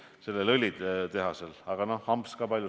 Muu hulgas on VKG öelnud, et ei soovi panna raha eelrafineerimistehasesse.